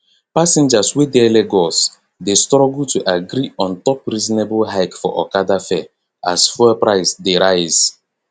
passengers wey dey lagos dey struggle to agree untop reasonable hike for okada fare as fuel price dey rise